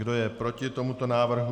Kdo je proti tomuto návrhu?